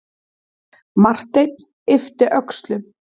Marteinn yppti öxlum.